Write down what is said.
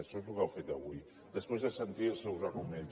això és el que ha fet avui després de sentir els seus arguments